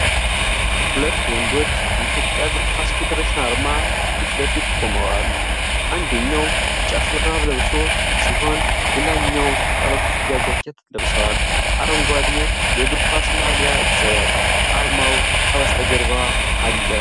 ሁለት ወንዶች በኢትዮጵያ እግር ኳስ ፌዴሬሽን አርማ ፊት ለፊት ቆመዋል። አንደኛው ቢጫ ሹራብ ለብሶ ሲሆን ሌላኛው ባለኩፍያ ጃኬት ለብሰዋል፡፡ አረንጓዴ የእግር ኳስ ማሊያ ይዘዋል። አርማው ከበስተጀርባ አለ።